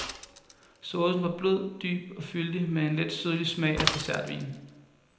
Saucen var blød, dyb og fyldig med en letsødlig smag af dessertvin.